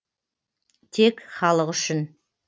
тек халық үшін